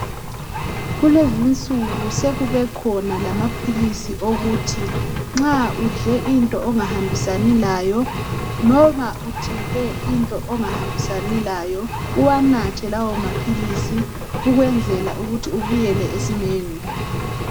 kulezinsuku sekubekhona lamaphilisi okuthi nxa udle into ongahambisani layo loba uthinte into ongahambisani layo uwanathe lawa maphilisi ukwenzela ukuthi ubuyele esimeni